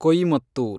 Coimbatore